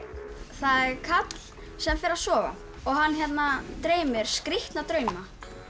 það er karl sem fer að sofa og hann dreymir skrítna drauma